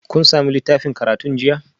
Kun sami littafin karatun jiya?